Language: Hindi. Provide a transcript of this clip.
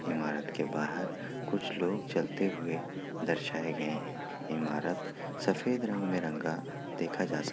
इमारत के बाहर कुछ लोग चलते हुए दर्शाये गए हैं। इमारत सफेद रंग में रंगा देखा जा सक --